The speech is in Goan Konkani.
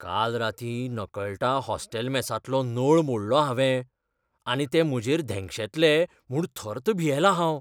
काल रातीं नकळटां हॉस्टेल मेसांतलो नळ मोडलो हांवें आनी ते म्हजेर धेंगशेतले म्हूण थर्त भियेलां हांव.